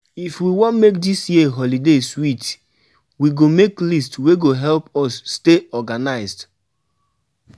If we wan make dis year holiday sweet, we go make list wey go help us stay organized.